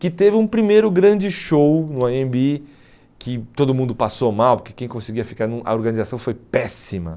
Que teve um primeiro grande show no Anhembi, que todo mundo passou mal, porque quem conseguia ficar no, a organização foi péssima.